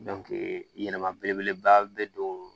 yɛlɛma belebeleba bɛ don